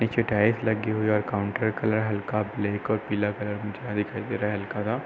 नीचे टाइल्स लगी हुई है और काउंटर का कलर हल्का ब्लैक और पीला कलर मुझे यहाँ दिखाई दे रहा है हल्का --